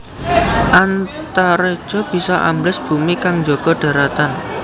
Antareja bisa ambles bumi kang njaga dharatan